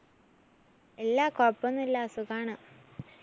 ഇല്ല. കൊഴപ്പോന്നുല്ല സുഖാണ്.